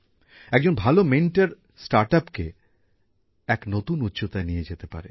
একজন ভালো মেন্টর স্টার্টআপকে এক নতুন উচ্চতায় নিয়ে যেতে পারে